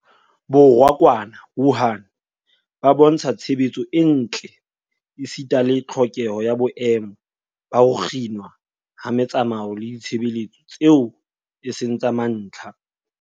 Borwa kwana Wuhan a bontsha tshebetso e ntle esita le tlhokeho ya boemo ba ho kginwa ha metsamao le ditshebeletso tseo e seng tsa mantlha.